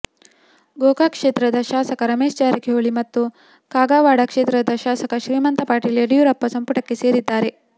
ಗೋಕಾಕ್ ಕ್ಷೇತ್ರದ ಶಾಸಕ ರಮೇಶ್ ಜಾರಕಿಹೊಳಿ ಮತ್ತು ಕಾಗವಾಡ ಕ್ಷೇತ್ರದ ಶಾಸಕ ಶ್ರೀಮಂತ ಪಾಟೀಲ್ ಯಡಿಯೂರಪ್ಪ ಸಂಪುಟಕ್ಕೆ ಸೇರಿದ್ದಾರೆ